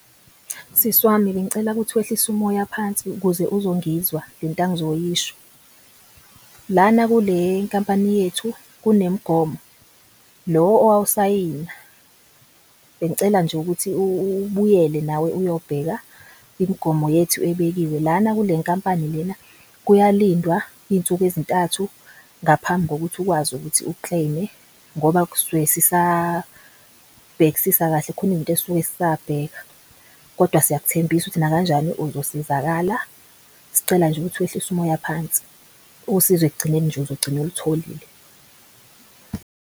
Sisi wami, bengicela ukuthi wehlise umoya phansi ukuze uzongizwa lenta engizoyisho. Lana kule nkampani yethu kunemgomo lo owawusayina bengicela nje ukuthi ubuyele nawe, uyobheka imigomo yethu ebekiwe. Lana kule nkampani lena kuyalindwa iy'nsuku ezintathu ngaphambi kokuthi ukwazi ukuthi u-claim-e ngoba kusuke sisabhekisisa kahle kukhona izinto esuke sisabheka. Kodwa siyakuthembisa ukuthi nakanjani uzosizakala sicela nje ukuthi wehlise umoya phansi usizo ekugcineni uzogcina olutholile.